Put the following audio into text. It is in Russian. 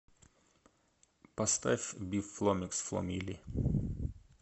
поставь биф фломикс фло милли